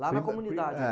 Lá na comunidade? É.